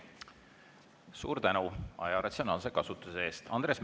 Suur tänu aja ratsionaalse kasutuse eest!